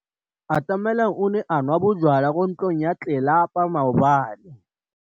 Atamelang o ne a nwa bojwala kwa ntlong ya tlelapa maobane.